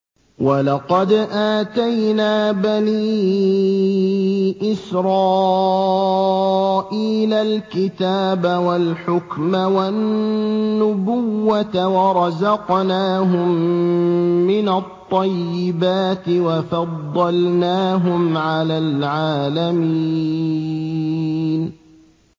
وَلَقَدْ آتَيْنَا بَنِي إِسْرَائِيلَ الْكِتَابَ وَالْحُكْمَ وَالنُّبُوَّةَ وَرَزَقْنَاهُم مِّنَ الطَّيِّبَاتِ وَفَضَّلْنَاهُمْ عَلَى الْعَالَمِينَ